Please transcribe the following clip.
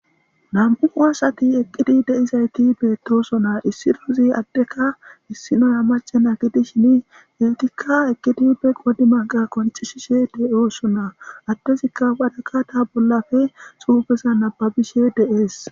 nam7uu asati eqqidi deizayti betooso naa issi duuzi addeka issinoya macena gidi shin getikka eqqidi udde qodi manqa konceshishe de7oosonaa adtezikka wadaka ta bollafe suubeza nababishe deees